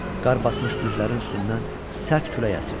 Qar basmış düzlərin üstündən sərt külək əsirdi.